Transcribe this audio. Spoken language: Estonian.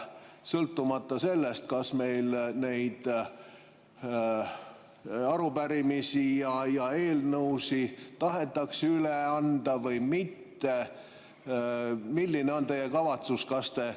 Sõltumata sellest, kas meil arupärimisi ja eelnõusid tahetakse üle anda või mitte, milline on teie kavatsus?